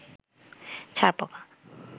ছারপোকা